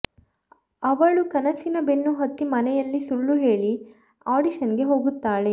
ಅವಳು ಕನಸಿನ ಬೆನ್ನು ಹತ್ತಿ ಮನೆಯಲ್ಲಿ ಸುಳ್ಳು ಹೇಳಿ ಆಡಿಷನ್ಗೆ ಹೋಗುತ್ತಾಳೆ